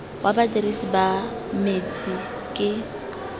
wa badirisi ba metsi ke